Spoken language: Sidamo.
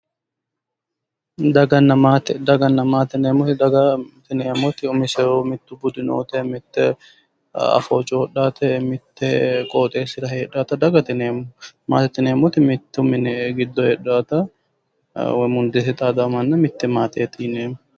Daganna maatte, daganna yineemotti umisehu budu nootte, mitto afoo coyiidhatta, mitte basera heedhaatta dagatte yineemo. maatette yineemotti mitto minne heedhaatta, mitte mundee xadaawo manna mitte maateeti yineemo.